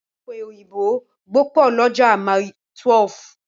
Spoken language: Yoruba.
Ọ̀pẹ̀ òyìnbó gbọ̀pọ̀ lọ́jà Mile12.